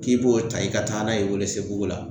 K'i b'o ta i ka taa n'a ye o Welesebugu la.